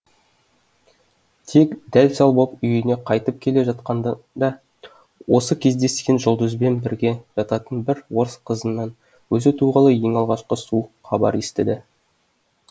тек дәл сал боп үйіне қайтып келе жатқанында оған кездескен жұлдызбен бірге жататын бір орыс қызынан өзі туғалы ең алғашқы суық хабарды естіді